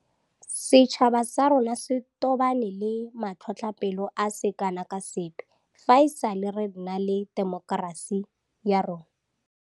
Setšhaba sa rona se tobane le matlhotlhapelo a se kana ka sepe fa e sale re nna le temokerasi ya rona.